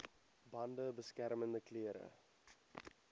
bande beskermende klere